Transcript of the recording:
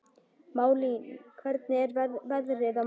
Malín, hvernig er veðrið á morgun?